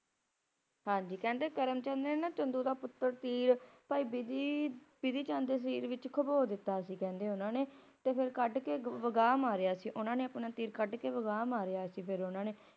ਕਹਿੰਦੇ ਕਰਮ ਚੰਦ ਰਹਿਣਾ ਚੰਦੂ ਦਾ ਪੁੱਤਰ ਤੀਰ ਭਾਈ ਬਿਧੀ ਚੰਦ ਦੇ ਸਰੀਰ ਵਿੱਚ ਖੁਬੋ ਦਿੱਤਾ ਸੀ ਕਹਿੰਦੇ ਉਹਨਾਂ ਨੇ ਫੇਰ ਕਹਿੰਦੇ ਕੱਢ ਕੇ ਵਗਾਹ ਮਾਰਿਆ ਸੀ ਉਹਨਾਂ ਨੇ ਆਪਣਾ ਤੀਰ ਕੱਢ ਕੇ ਵਗਾਹ ਮਾਰਿਆ ਸੀ ਫਿਰ ਉਨ੍ਹਾਂ ਨੇ